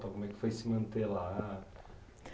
Como é que foi se manter lá?